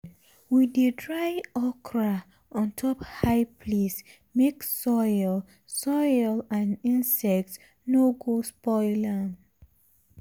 we dey dry okra on top high place make soil soil and insects no go spoil am.